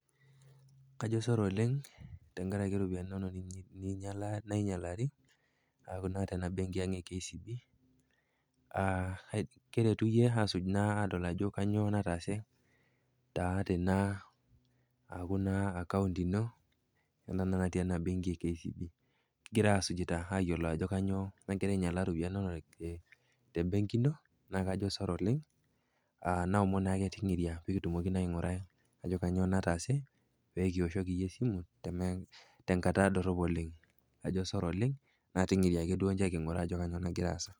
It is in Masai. Kajo sore oleng tenkaraki iropiani inono nainyalari, tena benki ang e KCB, kiretu iyie asuj adol ajo kanyoo nataase tena, aaku naa account ino ena naa natii ena benki e KCB, kigira asujita ayiolou ajo kanyoo nagira ainyalaa iropiani inono te benki ino naa kajo sore oleng naomon naake ting'iria pee kitumoki atodol ajo kanyoo nataase pekioshoki iyie esimu tenkata dorop oleng ajo sore oleng na ting'iria matodol ajo kanyoo nagira aasa.